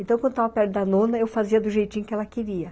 Então, quando eu estava perto da nona, eu fazia do jeitinho que ela queria.